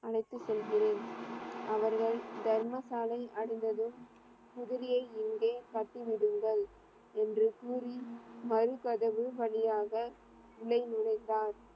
அழைத்து செல்கிறேன். அவர்கள் தர்ம சாலையை அடைந்ததும் குதிரையை இங்கே கட்டி விடுங்கள் என்று கூறி மதில் கதவு வழியாக உள்ளே நுழைந்தார்.